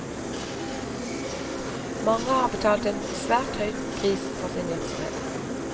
Mange har betalt en svært høy pris for sin virksomhet.